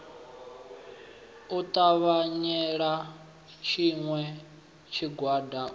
u takalela tshiṋwe tshigwada u